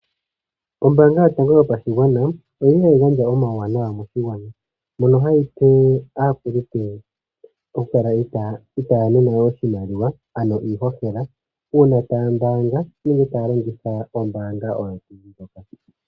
Ombaanga yotango yopashigwana oyi li hayi gandja omawuwanawa moshigwana, mono hayi pe aakulupe okukala itaya nanwa oshimaliwa ano iihohela, uuna taya mbaanga nenge taya longitha ombaanga oyo tuu ndjoka.